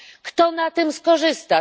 Kto na tym skorzysta?